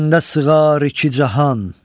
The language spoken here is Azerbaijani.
Məndə sığar iki cahan.